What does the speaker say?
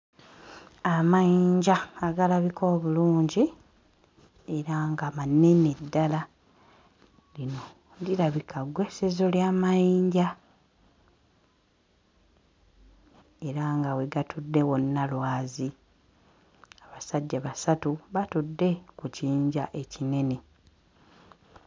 Amayinja agalabika obulungi era nga manene ddala lino lirabika ggweesezo lya mayinja era nga we gatudde wonna lwazi abasajja basatu batudde ku kiyinja ekinene.